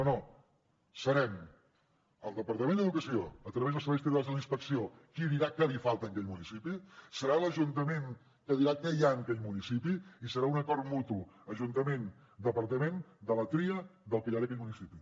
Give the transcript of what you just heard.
no no serem el departament d’educació a través dels serveis territorials de la inspecció qui dirà què li falta en aquell municipi serà l’ajuntament que dirà què hi ha en aquell municipi i serà un acord mutu ajuntamentdepartament de la tria del que hi ha en aquell municipi